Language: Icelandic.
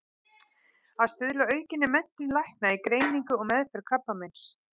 Að stuðla að aukinni menntun lækna í greiningu og meðferð krabbameins.